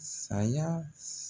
Saya s